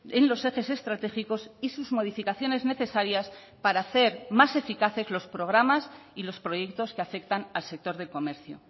en los ejes estratégicos y sus modificaciones necesarias para hacer más eficaces los programas y los proyectos que afectan al sector del comercio